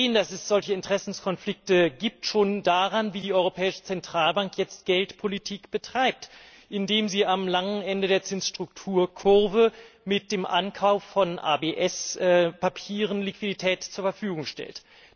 Dass es solche Interessenskonflikte gibt, sehen wir schon daran, wie die Europäische Zentralbank jetzt Geldpolitik betreibt, indem sie am langen Ende der Zinsstrukturkurve mit dem Ankauf von ABS Papieren Liquidität zur Verfügung stellt.